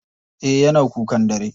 Eh yana kukan dare.